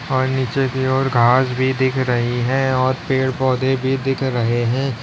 और नीचे की ओर घास भी दिख रही है और पेड़ पौधे भी दिख रहे हैं।